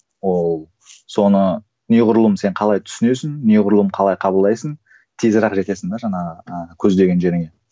ол соны неғұрлым сен қалай түсінесің неғұрлым қалай қабылдайсың жетесің де жаңағы ы көздеген жеріңе